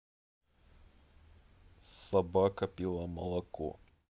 собака пила молоко